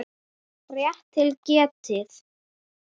Rétt til getið.